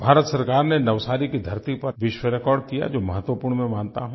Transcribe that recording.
भारत सरकार ने नवसारी की धरती पर विश्व रिकॉर्ड किया जो महत्वपूर्ण मैं मानता हूँ